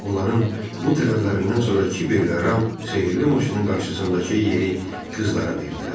Onların bu tələblərindən sonra Kibel və Ram sehirli maşının qarşısındakı yeri qızlara verdilər.